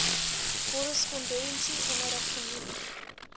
korrespondensie onderrig genoem